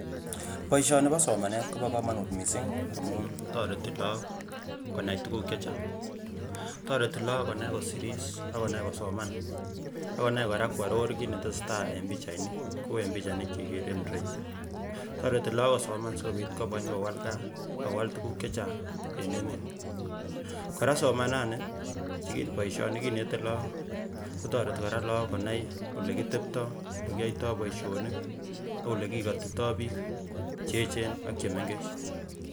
boisyoni bo somanet kobo komonut missing amun toreti look konai tukuk chechang toretii look konai kosiris ak konai kosoman ak konai kora kworor kit netesetai eng pichainik kou eng pichainik cheikere eng ireyu toreti look kosoman asikobit kobwa konyokowal gaa ak kowal tukuk chechang eng emet kora somanani boisyoni kinete look kotoreti kora look konai olekitebtoi, olekiyoitoo boisionik ak olekikotitoo biik cheechen ak chemengech